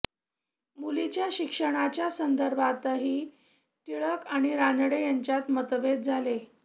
मुलींच्या शिक्षणाच्या संदर्भातही टिळक आणि रानडे यांच्यात मतभेद झाले